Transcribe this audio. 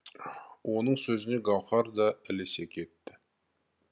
оның сөзіне гауһар да ілесе кетті